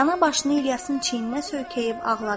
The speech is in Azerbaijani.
Rəana başını İlyasın çiyninə söykəyib ağladı.